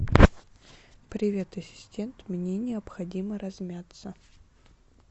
привет ассистент мне необходимо размяться